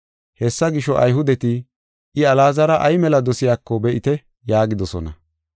Hessa gisho, Ayhudeti, “I Alaazara ay mela dosiyako be7ite” yaagidosona.